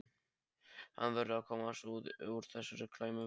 Hann verður að komast út úr þessari klemmu.